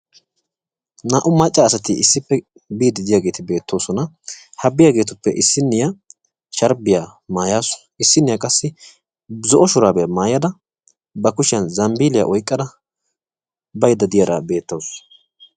Naa'u asatti issippe biiyagetti beetosonna. NNaa'attuppe issinna sharbbiya maaya utaassu issinna qassi zambbilloya oyqqidara beetawussu.